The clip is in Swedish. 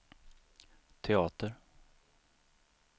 teater